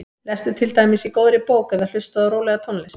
Lestu til dæmis í góðri bók eða hlustaðu á rólega tónlist.